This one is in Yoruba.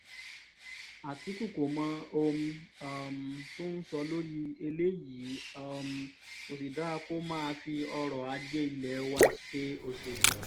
àtìkù kò mọ ohun um tó ń sọ lórí eléyìí um kò sì dáa kó máa fi ọrọ̀-ajé ilé wa ṣe òṣèlú